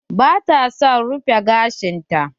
Ba ta son rufe gashin ta.